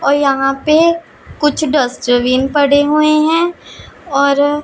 और यहां पे कुछ डस्टबिन पड़े हुए हैं और--